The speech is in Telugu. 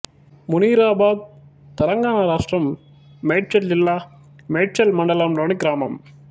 మునీరాబాద్ తెలంగాణ రాష్ట్రం మేడ్చల్ జిల్లా మేడ్చల్ మండలంలోని గ్రామం